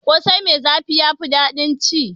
Ƙosai mai zafi ya fi daɗin ci.